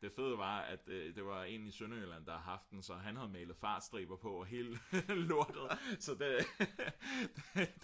det fede var at det var en i Sønderjylland der havde haft den så han havde malet fartstriber på og hele lortet så det